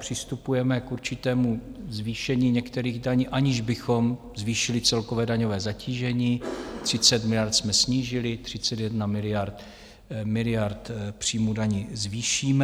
Přistupujeme k určitému zvýšení některých daní, aniž bychom zvýšili celkové daňové zatížení - 30 miliard jsme snížili, 31 miliard příjmů daní zvýšíme.